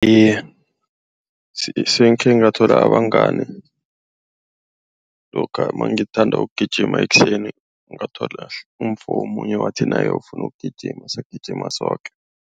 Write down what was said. Iye sekhe ngabathola abangani lokha ngithanda ukugijima ekuseni, ngathola umfo omunye wathi naye ufuna ukugijima sagijima soke.